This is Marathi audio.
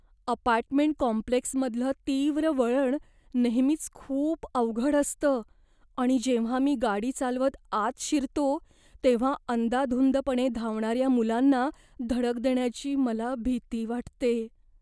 अपार्टमेंट कॉम्प्लेक्समधलं तीव्र वळण नेहमीच खूप अवघड असतं आणि जेव्हा मी गाडी चालवत आत शिरतो तेव्हा अंदाधुंदपणे धावणाऱ्या मुलांना धडक देण्याची मला भीती वाटते.